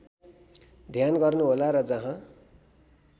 ध्यान गर्नुहोला र जहाँ